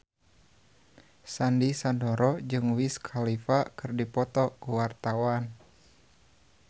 Sandy Sandoro jeung Wiz Khalifa keur dipoto ku wartawan